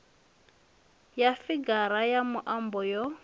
ya figara ya muambo yo